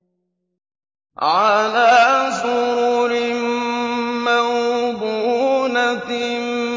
عَلَىٰ سُرُرٍ مَّوْضُونَةٍ